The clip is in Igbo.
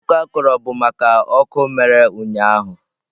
Akụkọ a kọrọ bụ maka ọkụ mere ụnyahụ.